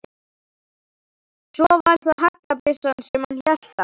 Svo var það haglabyssan sem hann hélt á.